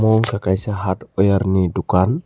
amo wngka kaisa hardware ni dokan.